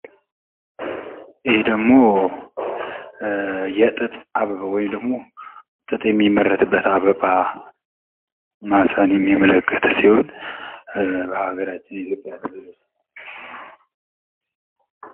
ይህ ጥጥ አበባ ወይም ጥጥ ሚመረጡበት አበባ በሀገራችን የኢትዮጵያ ክልል ይገኛል።